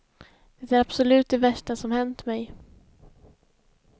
Det är absolut det värsta som hänt mig.